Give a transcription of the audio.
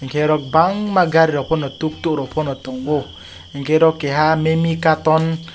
nugo chair ku ree porda song tongo obo bo ugukul achui tongo.